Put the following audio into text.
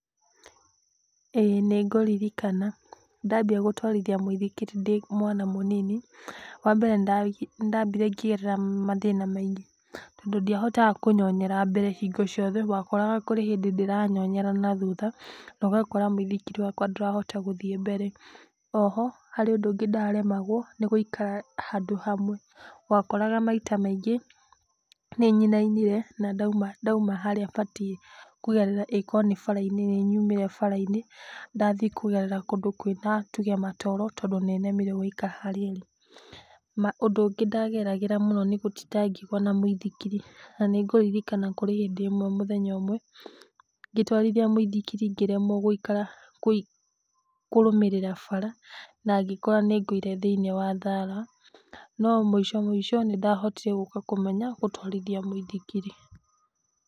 ĩ nĩngũririkana ndambia gũtwarithia mũithikiri ndĩ mwana mũnini, wa mbere nĩ ndambire ngĩgerera mathina maingĩ tondũ ndiahotaga kũnyonyera mbere hingo ciothe, wakoraga kũrĩ hĩndĩ ndĩranyonyera na thutha ũgakora mũithikiri ndũrahota gũthiĩ mbere, o ho harĩ ũndũ ũngĩ ndaremagwo nĩgũikara handũ hamwe wakoraga maita maingĩ nĩnyinainire na ndauma harĩa batiĩ kũgerera, ĩ korwo nĩ bara-inĩ nĩyumire bara-inĩ ndathiĩ kũgerera kũndũ kwĩna nĩtuge matoro tondũ nĩnemirwo gũikara harĩa ĩrĩ. Ũndũ ũngĩ ndagerarĩra mũno nĩgũtinda ngĩgua na mũithikiri. Nanĩngũririkana kũrĩ hĩndĩ ĩmwe mũthenya ũmwe ngĩtwarithia mũithikiri ngĩremwo gũikara kũrũmĩrĩra bara nangĩkora nĩngũire thĩiniĩ wa thara, no mũico mũico nĩndahotire gũka kũmenya gũtwarithia mũithikiri.